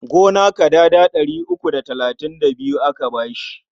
Gona kadada ɗari uku da talatin da biyu aka ba shi.